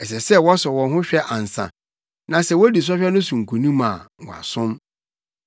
Ɛsɛ sɛ wɔsɔ wɔn hwɛ ansa, na sɛ wodi sɔhwɛ no so nkonim a wɔasom.